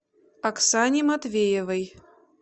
оксане матвеевой